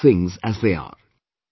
Accept things as they are